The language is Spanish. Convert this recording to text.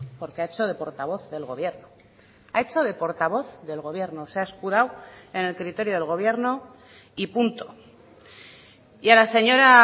porque ha hecho de portavoz del gobierno ha hecho de portavoz del gobierno se ha escudado en el criterio del gobierno y punto y a la señora